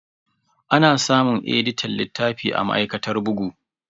Ana samun editan littafi a ma'aikatar bugu.